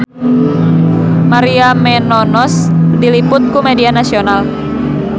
Maria Menounos diliput ku media nasional